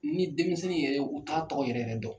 Ni denmisɛnnin yɛrɛ u t'a tɔgɔ yɛrɛ yɛrɛ dɔn.